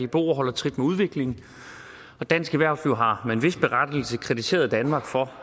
dboer holder trit med udviklingen dansk erhverv har med en vis berettigelse kritiseret danmark for